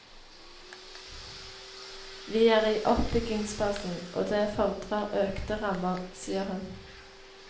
Vi er i oppbyggingsfasen, og det fordrer økte rammer, sier hun.